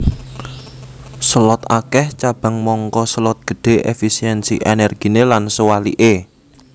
Selot akèh cabang mangka selot gedhé efisiensi ènèrginé lan sewaliké